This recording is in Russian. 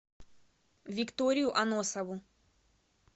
викторию аносову